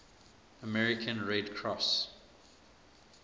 american red cross